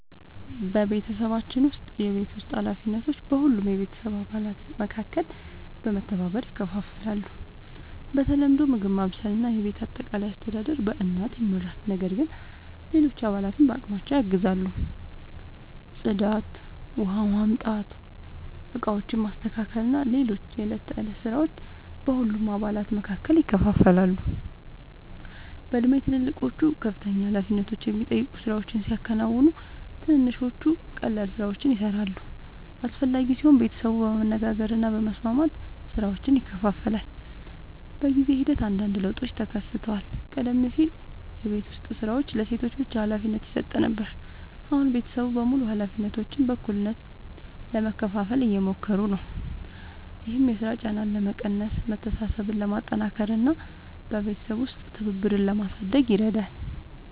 በቤተሰባችን ውስጥ የቤት ውስጥ ኃላፊነቶች በሁሉም የቤተሰብ አባላት መካከል በመተባበር ይከፋፈላሉ። በተለምዶ ምግብ ማብሰል እና የቤት አጠቃላይ አስተዳደር በእናት ይመራል፣ ነገር ግን ሌሎች አባላትም በአቅማቸው ያግዛሉ። ጽዳት፣ ውኃ ማምጣት፣ ዕቃዎችን ማስተካከል እና ሌሎች የዕለት ተዕለት ሥራዎች በሁሉም አባላት መካከል ይከፋፈላሉ። በእድሜ ትልልቆቹ ከፍተኛ ኃላፊነት የሚጠይቁ ሥራዎችን ሲያከናውኑ፣ ትንንሾቹ ቀላል ሥራዎችን ይሠራሉ። አስፈላጊ ሲሆን ቤተሰቡ በመነጋገር እና በመስማማት ሥራዎችን ይከፋፍላል። በጊዜ ሂደት አንዳንድ ለውጦችም ተከስተዋል። ቀደም ሲል የቤት ዉስጥ ሥራዎች ለሴቶች ብቻ ሀላፊነት ይሰጥ ነበር፣ አሁን ቤተሰቡ በሙሉ ኃላፊነቶችን በእኩልነት ለመካፈል እየሞከሩ ነው። ይህም የሥራ ጫናን ለመቀነስ፣ መተሳሰብን ለማጠናከር እና በቤተሰብ ውስጥ ትብብርን ለማሳደግ ይረዳል።